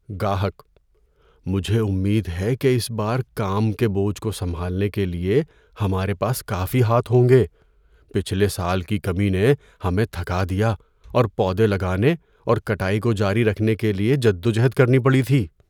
گاہک: "مجھے امید ہے کہ اس بار کام کے بوجھ کو سنبھالنے کے لیے ہمارے پاس کافی ہاتھ ہوں گے۔ پچھلے سال کی کمی نے ہمیں تھکا دیا اور پودے لگانے اور کٹائی کو جاری رکھنے کے لیے جدوجہد کرنی پڑی تھی۔"